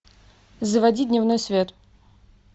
заводи дневной свет